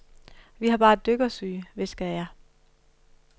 Vi har bare dykkersyge, hviskede jeg.